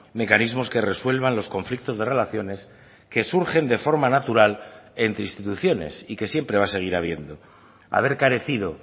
mecanismos que resuelvan los conflictos de relaciones que surgen de forma natural entre instituciones y que siempre va a seguir habiendo haber carecido